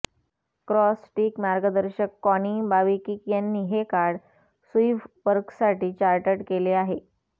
cross stitch मार्गदर्शक Connie बाविकिक यांनी हे कार्ड सुईव्हवर्कसाठी चार्टर्ड केले आहे